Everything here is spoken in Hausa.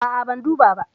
A'a, ban duba ba.